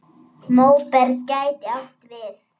Móberg gæti átt við